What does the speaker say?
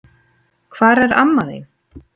Hvar er amma þín?